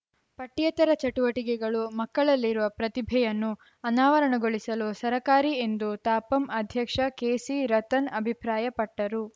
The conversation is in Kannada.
ಪಠ್ಯೇತರ ಚಟುವಟಿಕೆಗಳು ಮಕ್ಕಳಲ್ಲಿರುವ ಪ್ರತಿಭೆಯನ್ನು ಅನಾವರಣಗೊಳಿಸಲು ಸರಕಾರಿ ಎಂದು ತಾಪಂ ಅಧ್ಯಕ್ಷ ಕೆಸಿರತನ್‌ ಅಭಿಪ್ರಾಯಪಟ್ಟರು